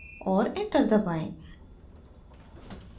और enter दबाएं